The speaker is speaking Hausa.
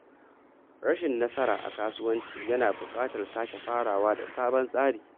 Rashin nasara a kasuwanci yana buƙatar sake farawa da sabon tsari.